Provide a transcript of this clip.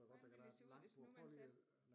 Hvordan ville det se ud hvis nu man satte